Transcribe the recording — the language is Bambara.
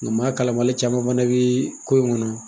Nga maa kalan bali caman fana bɛ ko in kɔnɔ.